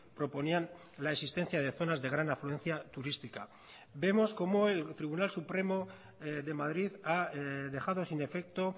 proponían la existencia de zonas de gran afluencia turística vemos como el tribunal supremo de madrid ha dejado sin efecto